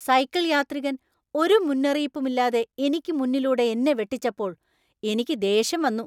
Cycle യാത്രികൻ ഒരു മുന്നറിയിപ്പുമില്ലാതെ എനിക്ക് മുന്നിലൂടെ എന്നെ വെട്ടിച്ചപ്പോൾ എനിക്ക് ദേഷ്യം വന്നു.